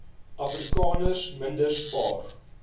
afrikaners minder spaar